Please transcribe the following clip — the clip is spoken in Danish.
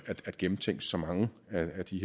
at gennemtænke så mange af de